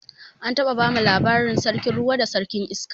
An taɓa bamu labarin sarkin ruwa da sarkin iska